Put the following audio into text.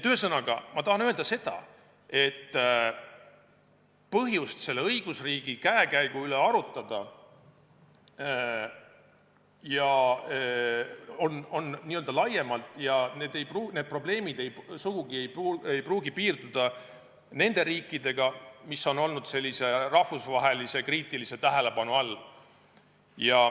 Ühesõnaga, ma tahan öelda seda, et põhjused õigusriigi käekäigu üle arutada on laiemad ja sellised probleemid ei pruugi sugugi piirduda nende riikidega, mis on olnud rahvusvahelise kriitilise tähelepanu all.